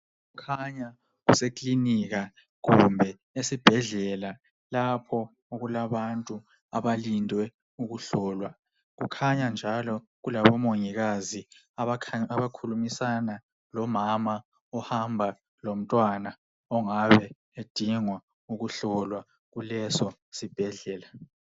Kukhanya kusekilinika kumbe esibhedlela lapho okulabantu abalinde ukuhlolwa. Kukhanya njalo kulabo mongikazi abakhulumisana lomama ohamba lomntwana ongabe edinga ukuhlolwa kuleso sibhedlela.